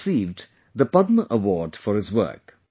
He has received the Padma award for his work